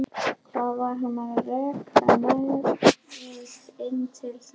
Hvað var hann að reka nefið inn til þeirra?